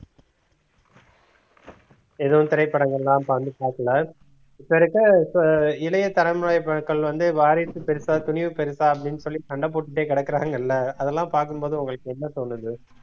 எதுவும் திரைப்படங்கள்லாம் இப்ப வந்து இப்ப இருக்க இப்ப இளைய தலைமுறை வந்து வாரிசு பெருசா துணிவு பெருசா அப்டின்னு சொல்லி சண்டை போட்டுட்டே கெடக்குறாங்கல்ல அதெல்லாம் பாக்கும்போது உங்களுக்கு என்ன தோணுது